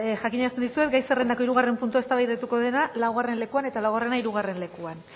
jakinarazten dizuet gai zerrendako hirugarren puntua eztabaidatuko dela laugarren lekuan eta laugarrena hirugarren lekuan